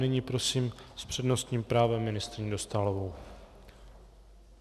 Nyní prosím s přednostním právem ministryni Dostálovou.